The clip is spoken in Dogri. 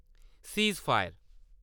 सिजफयेर